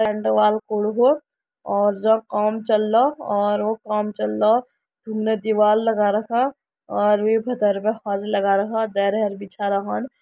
झंडो वालो कूड़ो हो और जख काम चलरा औरो का काम चलरा रुमने दिवाल लगा रखा और वेका तरफ़ा होज़ लगा रखा और देर्य हर बिछाारा खंड।